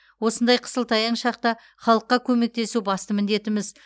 осындай қысылтаяң шақта халыққа көмектесу басты міндетіміз